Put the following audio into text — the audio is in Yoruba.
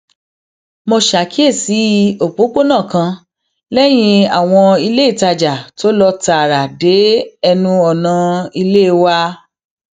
mo ṣàkíyèsí òpópónà kan léyìn àwọn iléìtajà tó lọ tààrà dé ẹnu ọnà ilé wa